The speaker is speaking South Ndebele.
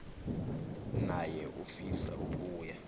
naye ufisa ukuya